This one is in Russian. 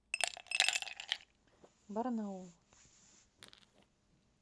барнаул